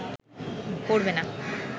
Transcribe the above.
পড়বে না